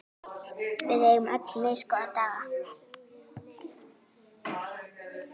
Við eigum öll misgóða daga.